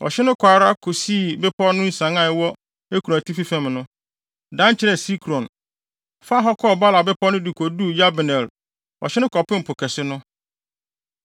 Ɔhye no kɔɔ ara kosii bepɔw no nsian a ɛwɔ Ekron atifi fam no, dan kyerɛɛ Sikron, faa hɔ kɔɔ Baala bepɔw no de koduu Yabneel. Ɔhye no kɔpem Po Kɛse no.